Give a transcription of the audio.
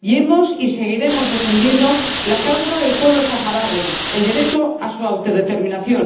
y hemos defendido y seguiremos defendiendo la causa del pueblo saharaui, el derecho a su autodeterminación.